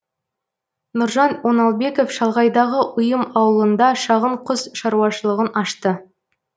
нұржан оңалбеков шалғайдағы ұйым ауылында шағын құс шаруашылығын ашты